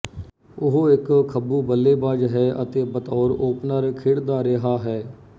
ਉਹ ਇੱਕ ਖੱਬੂਬੱਲੇਬਾਜ਼ ਹੈ ਅਤੇ ਬਤੌਰ ਓਪਨਰ ਖੇਡਦਾ ਰਿਹਾ ਹੈ